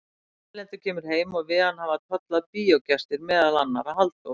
Erlendur kemur heim og við hann hafa tollað bíógestir, meðal annarra Halldór